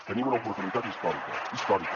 tenim una oportunitat històrica històrica